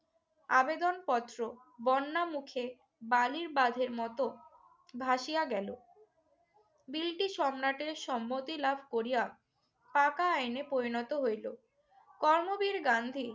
আবেদনপত্র বর্ণামুখে বালির বাঁধের মত ভাসিয়া গেল। ব্রিটিশ সম্রাটের সম্মতি লাভ করিয়া পাকা আইনে পরিণত হইল। কর্মবীর গান্ধী